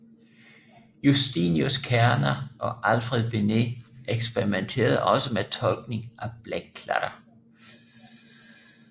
Justinius Kerner og Alfred Binet eksperimenterede også med tolkning af blækklatter